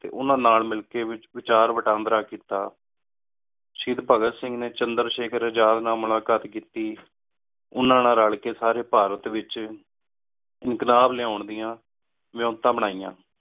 T ਓਹਨਾ ਨਾਲ ਮਿਲ ਕ ਵਾਚਾਰ ਵਟਾਂਦਰਾ ਕੀਤਾ ਸ਼ਾਹੇਡ ਭਗਤ ਸਿੰਘ ਨੀ ਚੰਦਰ ਸ਼ੇਕਰ ਆਜ਼ਾਦ ਨਾਲ ਮੁਲਾਕਾਤ ਕੀਤੀ ਓਹਨਾ ਨਾਲ ਰਲ ਕ ਸਾਰੀ ਭਾਰਤ ਏਚ ਇਨਕ਼ਲਾਬ ਲ੍ਯਾਂ ਦਿਯਾਂ ਵਾਯੋਨਤਾ ਬਨਿਯਾਂ